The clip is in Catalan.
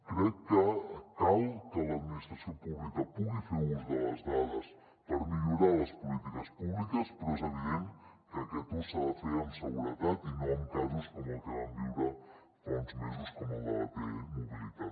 crec que cal que l’administració pública pugui fer ús de les dades per millorar les polítiques públiques però és evident que aquest ús s’ha de fer amb seguretat i no amb casos com el que vam viure fa uns mesos com el de la t mobilitat